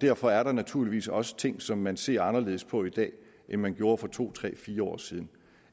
derfor er der naturligvis også ting som man ser anderledes på i dag end man gjorde for to tre fire år siden